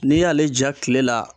N'i y'ale ja kile la